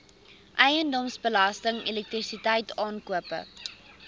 eiendomsbelasting elektrisiteit aankope